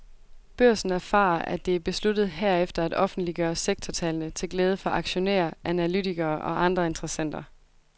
Børsen erfarer, at det er besluttet herefter at offentliggøre sektortallene til glæde for aktionærer, analytikere og andre interessenter.